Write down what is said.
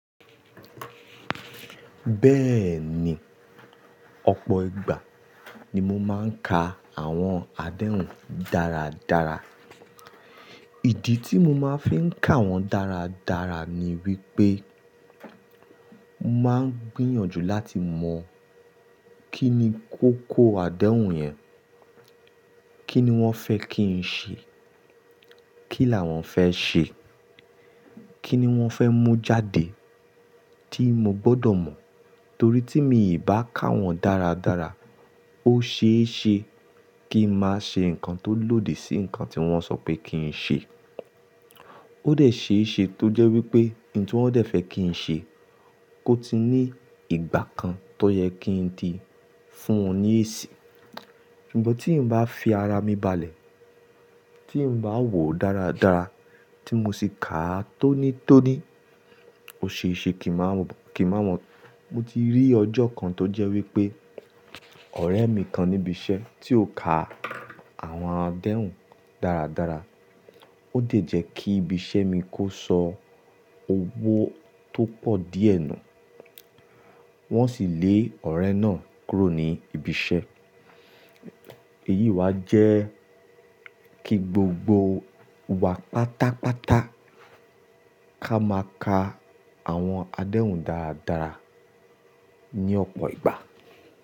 Bẹ́ẹ̀ni, ọ̀pọ̀ ìgbà ni mo máa ń ka àwọn adéhùn dáradára. Ìdí tí mo máa ń fi ń ka wọ́n dáradára ni wípé màá ń gbìyànjú láti mọ̀ kín ni kókó adéhùn yẹn, kín ni wọ́n fẹ́ kí n ṣe, kí làwọn fẹ́ ṣe, kín ni wọ́n fẹ́ mú jáde tí mo gbọ́dọ̀ mọ̀. Torí tí mi ò bá kà wọ́n dáradára, ó ṣeéṣe kí ń máa ṣe nǹkan tó lòdì sí ǹkan tí wọ́n sọ pé kí ń ṣe. Ó dẹ̀ ṣeéṣe tó jẹ́ wípé ohun tí wọ́n dẹ̀ fẹ́ kí ń ṣe kó ti ní ìgbà kan tó yẹ kí ń di fún wọn ní èsì. Ṣùgbọ́n tí ń bá fi ara mi balẹ̀, tí ń bá wò ó dáradára, tí mo sì ka á tónítóní, ó ṣeéṣe kí ń máa mọ̀. Mo ti rí ọjọ́ kan tó jẹ́ wípé ọ̀rẹ́ mi kan níbi iṣẹ́ tí ó ka àwọn adéhùn dáradára ó dẹ̀ jẹ́ kí ibi iṣẹ́ mi kó sọ owó tó pọ̀ díẹ̀ nù, wọ́n sì lé ọ̀rẹ́ náà kúrò ní ibi iṣẹ́. Èyí wá jẹ́ kí gbogbo wa pátápátá ká máa ka àwọn adéhùn dáradára ní ọ̀pọ̀ ìgbà.